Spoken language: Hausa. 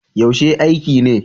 Yaushe aiki ne?